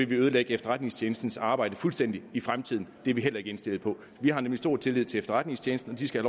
ødelægge efterretningstjenestens arbejde fuldstændig i fremtiden og det er vi heller ikke indstillet på vi har nemlig stor tillid til efterretningstjenesten og de skal